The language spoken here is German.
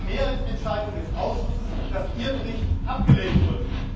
Es war eine Mehrheitsentscheidung des Ausschusses, dass Ihr Bericht abgelehnt wurde.